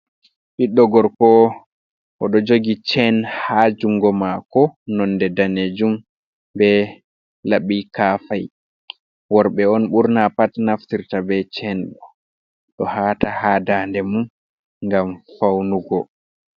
Ɓiɗɗo gorko o ɗo jogi chen ha jungo mako nonde danejum, be laɓa kafahi worɓe on burna pat naftirta ɓe chen ɗo hata ha dande mum ngam faunugo